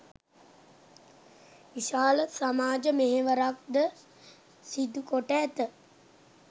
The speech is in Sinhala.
විශාල සමාජ මෙහෙවරක් ද සිදුකොට ඇත.